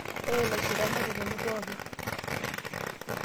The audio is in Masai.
ore ilaishirak netotoni pooki